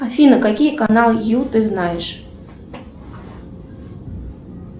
афина какие каналы ю ты знаешь